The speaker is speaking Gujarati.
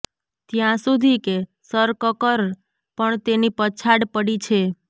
ત્યાં સુધી કે સરકકર પણ તેની પછાડ પડી છે